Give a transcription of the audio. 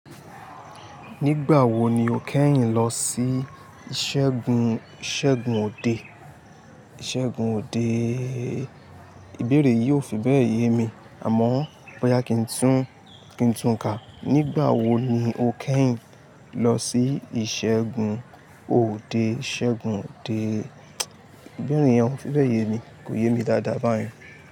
Nígbà wo ni o kẹ́yìn lọ sí ìṣègùn òde? Ìbéèrè yìí ò fi bẹ́ẹ̀ yé mi, àmọ́ bóyá kí n tún kà. Nígbà wo ni o kẹ́yìn lọ sí ìṣègùn òde? Ìbéèrè yẹn ò fi bẹ́ẹ̀ yé mi, kò yé mi dáadáa báyìí.